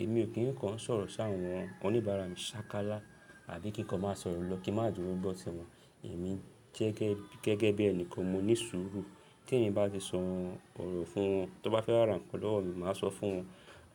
Èmi ò kíń kàn sọ̀rọ̀ sáàwọn oníbàárà mi ṣákálá àbí kí nǹkan máa sọ̀rọ̀ lọ kí má duro gbọ́ tí wọn. Èmi gẹ́gẹ́ bí ẹni kan mo ní sùúrù tí èmi bá ti sọ ọ̀rọ̀ fún wọn. Tí wọ́n bá fẹ́ ràn nkan lowo mi, màá sọ fún wọn